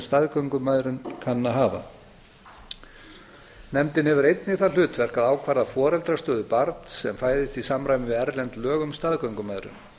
staðgöngumæðrun kann að hafa nefndin hefur einnig það hlutverk að ákvarða foreldrastöðu barns sem fæðist í samræmi við erlend lög um staðgöngumæðrun